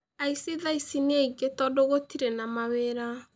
Aici thaa ici nĩ aingĩ tondũ gũtirĩ na mawĩra